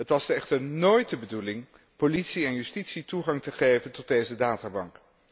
Het was echter nóóit de bedoeling politie en justitie toegang te geven tot deze databank.